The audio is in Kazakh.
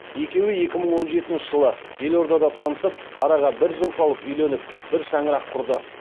екеуі екі мың он жетінші жылы елордада танысып араға бір жыл салып үйленіп бір шаңырақ құрды